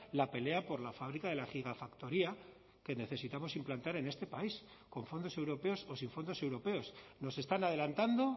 la pelea por la fábrica de la gigafactoría que necesitamos implantar en este país con fondos europeoso sin fondos europeos nos están adelantando